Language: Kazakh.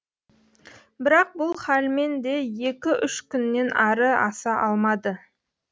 бірақ бұл халмен де екі үш күннен ары аса алмады